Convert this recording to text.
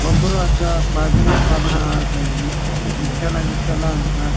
ಒಬ್ರು ಅಜ್ಜ ಬಜನೆ ಪದನ ಹಾಡ್ತ ಇದೀನೆ ವಿಟ್ಟಲ ವಿಟ್ಟಲ ಅಂತ.